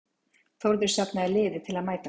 þórður safnaði liði til að mæta honum